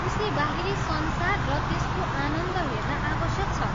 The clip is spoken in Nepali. उसले बाहिरी संसार र त्यसको आनन्द हेर्न आवश्यक छ।